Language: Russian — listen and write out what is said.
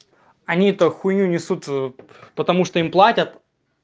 они то хуйню несут потому что им платят